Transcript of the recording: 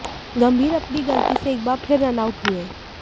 गंभीर अपनी गलती से एक बार फिर रन आउट हुए